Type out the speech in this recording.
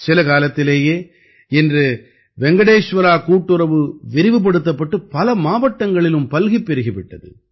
சில காலத்திலேயே இன்று வெங்கடேஷ்வரா கூட்டுறவு விரிவுபடுத்தப்பட்டு பல மாவட்டங்களிலும் பல்கிப் பெருகி விட்டது